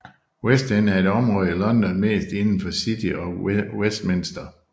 West End er et område i London mest inden for City of Westminster